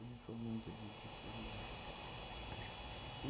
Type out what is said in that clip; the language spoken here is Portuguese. Eu não sou muito de de desses negócios de conta.